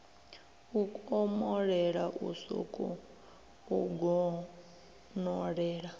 u komolela u sokou donolela